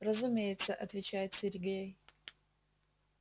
разумеется отвечает сергей